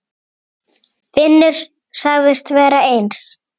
Finnur sagðist vera eins.